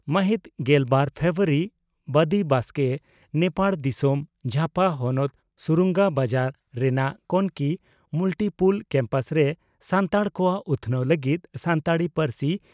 ᱢᱟᱦᱤᱛ ᱜᱮᱞᱵᱟᱨ ᱯᱷᱮᱵᱨᱩᱣᱟᱨᱤ (ᱵᱚᱫᱤ ᱵᱟᱥᱠᱮ) ᱺ ᱱᱮᱯᱟᱲ ᱫᱤᱥᱚᱢ ᱡᱷᱟᱯᱟ ᱦᱚᱱᱚᱛ ᱥᱩᱨᱩᱝᱜᱟ ᱵᱟᱡᱟᱨ ᱨᱮᱱᱟᱜ ᱠᱚᱱᱚᱠᱤ ᱢᱩᱞᱴᱤᱯᱩᱞ ᱠᱮᱢᱯᱟᱥ ᱨᱮ 'ᱥᱟᱱᱛᱟᱲ ᱠᱚᱣᱟᱜ ᱩᱛᱷᱱᱟᱹᱣ ᱞᱟᱹᱜᱤᱫ ᱥᱟᱱᱛᱟᱲᱤ ᱯᱟᱹᱨᱥᱤ